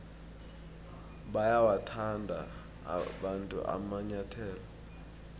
bayawathanda abantu amanyathele woboya